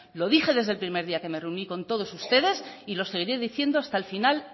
lo dije desde el primer día que me reuní con todos ustedes y lo seguiré diciendo hasta el final